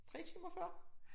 3 timer før